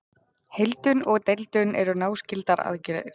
Heildun og deildun eru náskyldar aðgerðir.